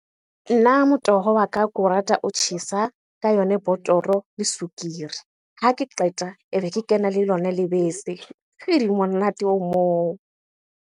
Nna motoho wa ka ko o rata o tjhesa ka yona botoro le sukiri. Ha ke qeta, ebe kena le lona lebese. Monate o moo.